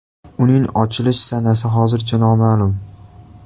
Uning ochilish sanasi hozircha noma’lum.